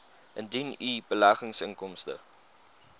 indien u beleggingsinkomste